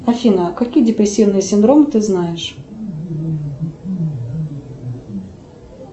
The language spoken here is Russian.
афина какие депрессивные синдромы ты знаешь